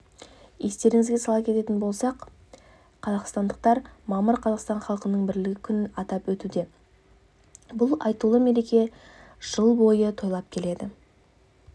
естеріңізге сала кететін болсақ қазақстандықтар мамыр қазақстан халқының бірлігі күнін атап өтуде бұл айтулы мерекені жыл бойы тойлап келеді